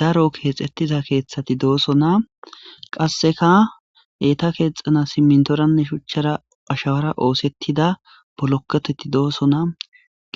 Daro keexeththida keeththethi doosona; qassika eetha keexxanassi siminththoranne shuchchara ashawara ooseththida bolokkothethi doosona;